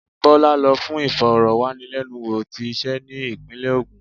Bola lo fún ìforo-wanilenúwo tí ise ni ipinle ogun.